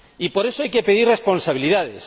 Y, por eso, hay que exigir responsabilidades.